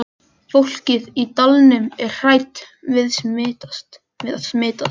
Fólkið í dalnum er hrætt við að smitast.